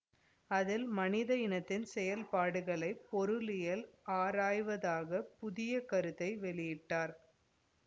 அதில் மனித இனத்தின் செயல்பாடுகளை பொருளியல் ஆராய்வதாக புதிய கருத்தை வெளியிட்டார்